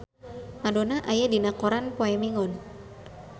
Madonna aya dina koran poe Minggon